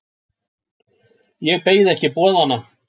Ég beið ekki boðanna.